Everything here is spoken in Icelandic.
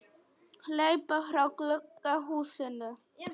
Hleyp frá gulu húsinu.